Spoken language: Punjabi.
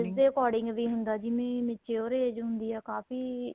ਦੇ according ਵੀ ਹੁੰਦਾ ਜਿਵੇਂ mature age ਹੁੰਦੀ ਏ ਉਹ ਕਾਫ਼ੀ